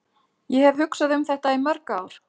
Ég hef hugsað um þetta í mörg ár.